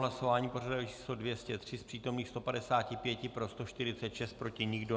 Hlasování pořadové číslo 203, z přítomných 155, pro 146, proti nikdo.